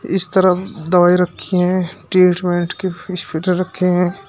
इस तरफ दवाई रखी है ट्रीटमेंट की फीस फिटर रखे हैं।